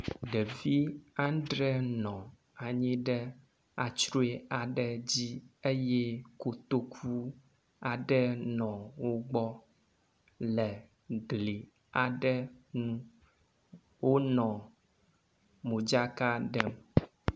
Ɖevi andre aɖe nɔ anyi ɖe antrɔe aɖe dzi eye kotoku aɖe nɔ wo gbɔ le gli aɖe ŋu wonɔ modzaka ɖem.